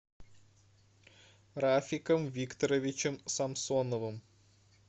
рафиком викторовичем самсоновым